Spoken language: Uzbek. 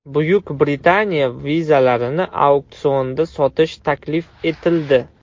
Buyuk Britaniya vizalarini auksionda sotish taklif etildi.